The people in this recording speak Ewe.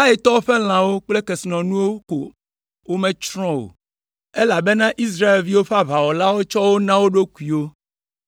Aitɔwo ƒe lãwo kple kesinɔnuwo ko wometsrɔ̃ o, elabena Israelviwo ƒe aʋawɔlawo tsɔ wo na wo ɖokuiwo.